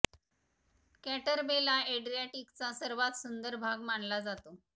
कॅटर बेला एड्रियाटिकचा सर्वात सुंदर भाग मानला जातो